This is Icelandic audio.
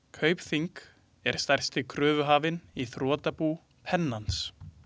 Kaupþing er stærsti kröfuhafinn í þrotabú Pennans.